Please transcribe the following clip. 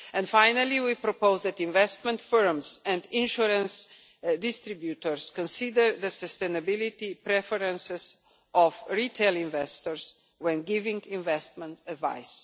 Finally, we propose that investment firms and insurance distributors consider the sustainability preferences of retail investors when giving investment advice.